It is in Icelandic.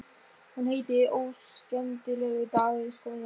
Hún heitir Óskemmtilegur dagur í skólanum.